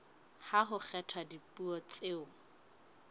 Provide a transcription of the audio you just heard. ha ho kgethwa dipuo tseo